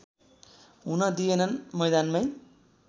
हुन दिएनन् मैदानमै